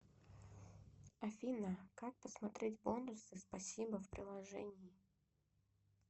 афина как посмотреть бонусы спасибо в приложении